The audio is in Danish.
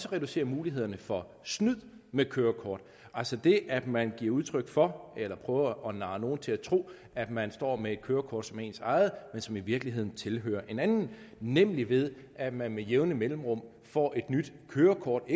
at reducere mulighederne for snyd med kørekort altså det at man giver udtryk for eller prøver at narre nogle til at tro at man står med et kørekort som er ens eget men som i virkeligheden tilhører en anden nemlig ved at man med jævne mellemrum får et nyt kørekort